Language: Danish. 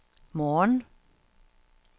morgen